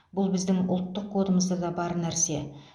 бұл біздің ұлттық кодымызда да бар нәрсе